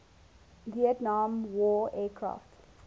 vietnam war aircraft